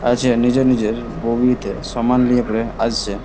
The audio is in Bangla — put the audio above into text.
আছে নিজের নিজের বগিতে সামান লিয়ে পরে আসছে।